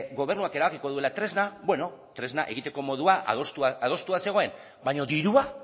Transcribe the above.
gobernuak erabakiko duela tresna bueno tresna egiteko modua adostua zegoen baina dirua